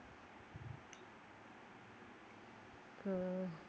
ആ